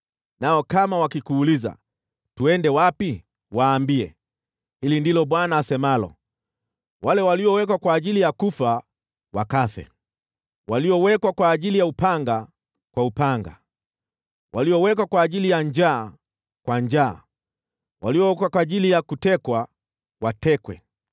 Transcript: Nao kama wakikuuliza, ‘Twende wapi?’ Waambie, ‘Hili ndilo Bwana asemalo: “ ‘Wale waliowekwa kwa ajili ya kufa, wakafe; waliowekwa kwa ajili ya upanga, kwa upanga; waliowekwa kwa ajili ya njaa, kwa njaa: waliowekwa kwa ajili ya kutekwa, watekwe.’ ”